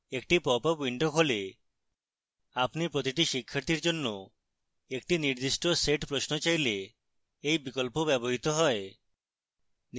একটি pop up window খোলে আপনি প্রতিটি শিক্ষার্থীর জন্য একটি নির্দিষ্ট set প্রশ্ন চাইলে এই বিকল্প ব্যবহৃত হয়